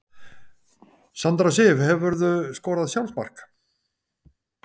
Sandra Sif Hefurðu skorað sjálfsmark?